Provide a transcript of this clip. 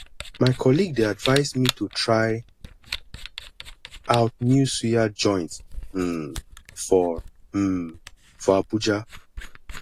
my colleague dey advise me to try out new suya joint um for um for abuja